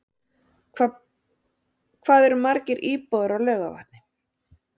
Hvað eru margir íbúar á Laugarvatni?